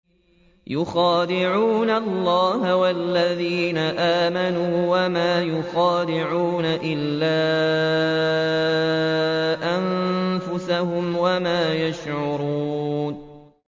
يُخَادِعُونَ اللَّهَ وَالَّذِينَ آمَنُوا وَمَا يَخْدَعُونَ إِلَّا أَنفُسَهُمْ وَمَا يَشْعُرُونَ